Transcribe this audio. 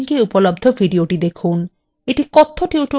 এটি কথ্য tutorial প্রকল্পকে সারসংক্ষেপে বোঝায়